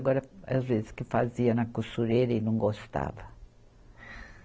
Agora, às vezes que fazia na costureira e não gostava.